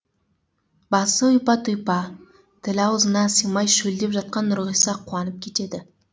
басы ұйпа тұйпа тілі аузына сыймай шөлдеп жатқан нұрғиса қуанып кетеді